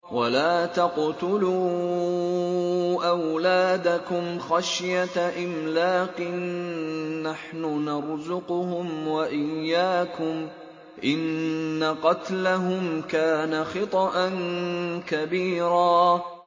وَلَا تَقْتُلُوا أَوْلَادَكُمْ خَشْيَةَ إِمْلَاقٍ ۖ نَّحْنُ نَرْزُقُهُمْ وَإِيَّاكُمْ ۚ إِنَّ قَتْلَهُمْ كَانَ خِطْئًا كَبِيرًا